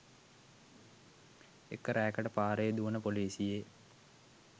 එක රෑකට පාරේ දුවන පොලිසියේ